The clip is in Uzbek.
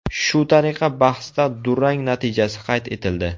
Shu tariqa bahsda durang natijasi qayd etildi.